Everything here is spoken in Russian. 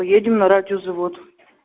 едем на радиозавод